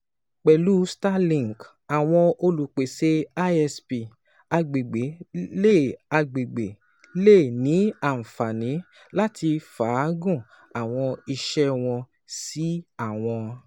Pẹlu Starlink, awọn olupese ISP agbegbe le agbegbe le ni anfani lati faagun awọn iṣẹ wọn si awọn